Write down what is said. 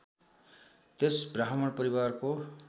त्यस ब्राह्मण परिवारको